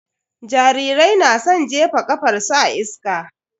Jarirai na san jefa ƙafarsu a iska.